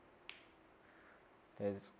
तेच